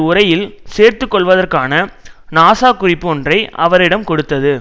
உரையில் சேர்த்து கொள்வதற்கான நாசா குறிப்பு ஒன்றை அவரிடம் கொடுத்தது